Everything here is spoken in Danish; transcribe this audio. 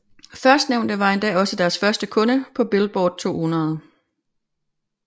Førstnævnte var endda også deres første kunde på Billboard 200